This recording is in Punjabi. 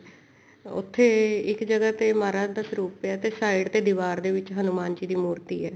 ਉੱਥੇ ਇੱਕ ਜਗ੍ਹਾ ਤੇ ਮਹਾਰਾਜ ਦਾ ਸਰੂਪ ਪਿਆ ਤੇ ਸਾਇਡ ਤੇ ਦੀਵਾਰ ਦੇ ਵਿੱਚ ਹਨੁਮਾਨ ਜੀ ਦੀ ਮੂਰਤੀ ਹੈ